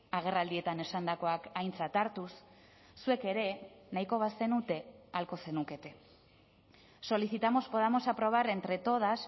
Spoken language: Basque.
agerraldietan esandakoak aintzat hartuz zuek ere nahiko bazenute ahalko zenukete solicitamos podamos aprobar entre todas